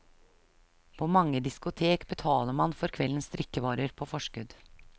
På mange diskotek betaler man for kveldens drikkevarer på forskudd.